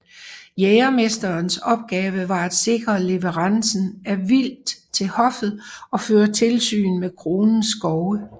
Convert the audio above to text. Jægermesterens opgave var at sikre leverancen af vildt til hoffet og føre tilsyn med kronens skove